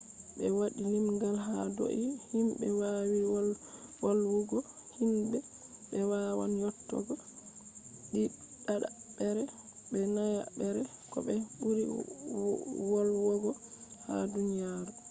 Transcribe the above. ɓe waɗi limgal ha dou himbe wawi volwugo hindi. ɓe wawan yottogo ɗiɗaɓre be nayaɓre ko ɓe ɓuri wolwogo ha duniyaru